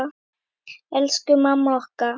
Elsku mamma okkar.